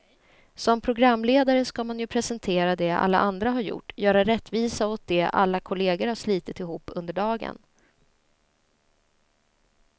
Som programledare ska man ju presentera det alla andra har gjort, göra rättvisa åt det alla kollegor har slitit ihop under dagen.